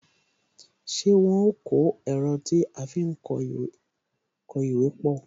Ṣé wọn ó pàrọ̀ ẹ̀rọ tí a fi ń kó ìwé pọ?